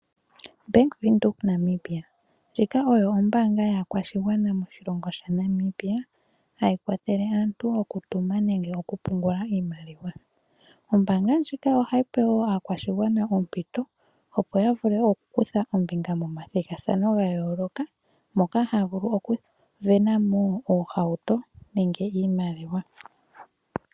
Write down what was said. Bank Windhoek Namibia ndjika oyo ombanga yakwashigwana moshilongo shaNamibia hayi kwathelele aantu oku tuma nenge okupungula iimaliwa. Ombanga ndjika ohayi pe wo aakwashigwana ompito opo yavule oku kutha ombinga momathigathano gayoloka moka havulu oku vena mo oohauto nenge iimaliwa.